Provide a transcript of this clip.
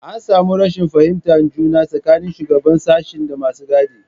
An samu rashin fahimtar juna tsakanin shugaban sashen da masu gadi.